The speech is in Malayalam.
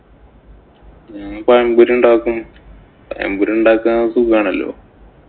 ഞാന്‍ പഴംപൊരിയുണ്ടാക്കും. പഴംപൊരിയുണ്ടാക്കാന്‍ സുഖാണല്ലോ.